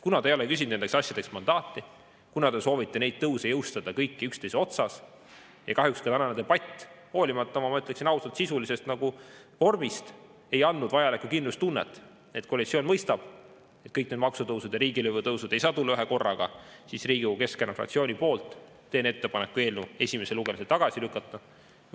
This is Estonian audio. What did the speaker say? Kuna te ei ole küsinud nendeks asjadeks mandaati, kuna te soovite neid tõuse jõustada kõiki üksteise otsas ja kahjuks ka tänane debatt, hoolimata oma, ma ütleksin ausalt, sisulisest vormist ei andnud vajalikku kindlustunnet, et koalitsioon mõistab, et kõik need maksutõusud ja riigilõivude tõusud ei saa tulla ühekorraga, siis Riigikogu Keskerakonna fraktsiooni nimel teen ettepaneku eelnõu esimesel lugemisel tagasi lükata.